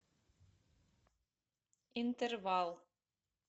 интервал